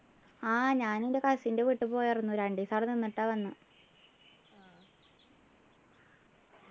ആഹ് ഞാൻ എൻ്റെ cousin ൻ്റെ വീട്ടി പോയിരുന്നു രണ്ടു ദിവസം അവിടെ നിന്നിട്ടാ വന്നേ